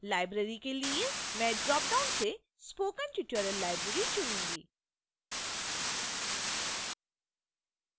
library के लिए मैं ड्रॉपडाउन से spoken tutorial library चुनूंगी